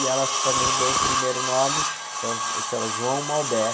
E ela também deu o primeiro nome, então chama João Malbec.